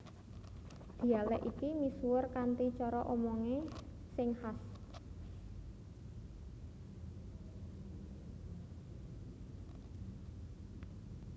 Dhialèk iki misuwur kanthi cara omongé sing khas